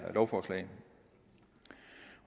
lovforslag